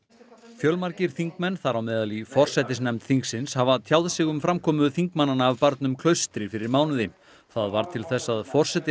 fjölmargir þingmenn þar á meðal í forsætisnefnd þingsins hafa tjáð sig um framkomu þingmannanna af barnum Klaustri fyrir mánuði það varð til þess að forseti